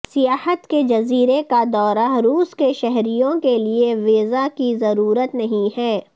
سیاحت کے جزیرے کا دورہ روس کے شہریوں کے لیے ویزا کی ضرورت نہیں ہے